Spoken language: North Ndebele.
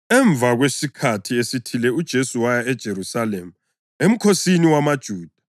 Emva kwesikhathi esithile uJesu waya eJerusalema emkhosini wamaJuda.